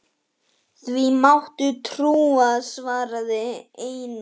Því máttu trúa, svaraði Einar.